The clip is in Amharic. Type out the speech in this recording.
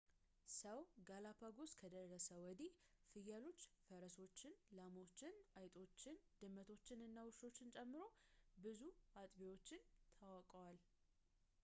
ሰው ጋላፓጎስ ከደረሰ ወዲህ ፍየሎችን ፈረሶችን ላሞችን አይጦችን ድመቶችን እና ውሻዎችን ጨምሮ ብዙ አጥቢዎች ተዋውቀዋል